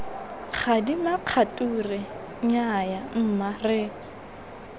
gadima kgature nnyaya mma re